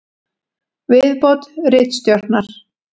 Viðbót ritstjórnar: